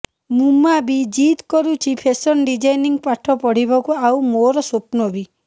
ମୁମା ବି ଜିଦ୍ କରୁଛି ଫେଶନ ଡିଜାଇନିଂ ପାଠ ପଢିବାକୁ ଆଉ ମୋର ସ୍ୱପ୍ନ ବି